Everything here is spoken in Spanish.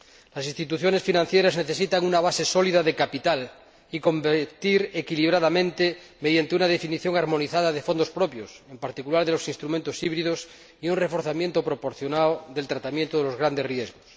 Las instituciones financieras necesitan una base sólida de capital y competir equilibradamente mediante una definición armonizada de fondos propios, en particular de los instrumentos híbridos, y un reforzamiento proporcionado del tratamiento de los grandes riesgos.